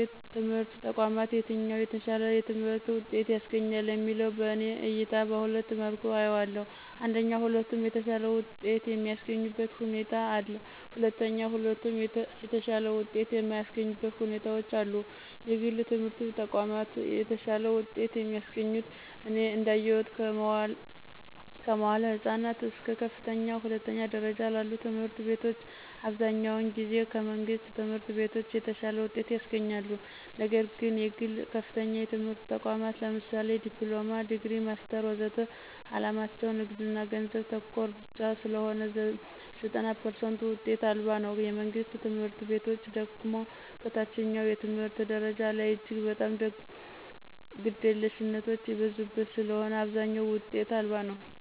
የትምህርት ተቋማት የትኛው የተሻለ የትምህርት ውጤት ያስገኛል የሚለው በእኔ እይታ በሁለት መልኩ አየዋለሁ አንደኛ ሁለቱም የተሻለ ውጤት የሚስገኙበት ሁኔታ አለ። ሁለተኛ ሁለቱም የተሻለ ውጤት የማያሰገኙበት ሁኔታዎች አሉ። የግል የትምህረት ተቋማት የተሻለ ውጤት የሚያስገኙት እኔ እዳየሁት ከመዋዕለ ህፃናት እስከ ከፍተኛ ሁለተኛ ደረጃ ላሉ ትምህርት ቤቶች አብዛኛውን ጊዜ ከመንግሥት ትምህርት ቤቶች የተሻለ ውጤት ያስገኛሉ። ነግር ግን የግል ከፍተኛ የትምህርት ተቋማት ለምሳሌ ዲፕሎማ፣ ዲግሪ፣ ማስተር ወዘተ ዓላማቸው ንግድና ገንዘብ ተኮር ብቻ ስለሆነ ዘጠና ፐርሰንቱ ውጤት አልባ ነው። የመንግስት ትምህርት ቤቶች ደግሞ ከታችኛው የትምህርት ደረጃ ላይ እጅግ በጣም ግደለሽነቶች የበዙበት ስለሆነ አብዛኛው ውጤት አልባ ነው።